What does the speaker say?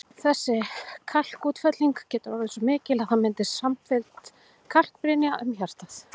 Þessi kalkútfelling getur orðið svo mikil að það myndist samfelld kalkbrynja um hjartað.